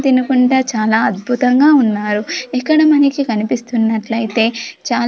తినుకుంటా చాలా అద్భుతంగా ఉన్నారు ఇక్కడ మనకి కనిపిస్తున్నట్లయితే చాల--